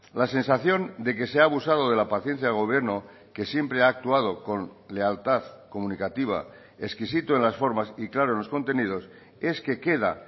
la sensación de que se ha abusado de la paciencia del gobierno que siempre ha actuado con lealtad comunicativa exquisito en las formas y claro en los contenidos es que queda